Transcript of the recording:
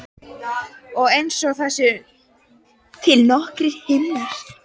Og einsog það séu til nokkrir himnar.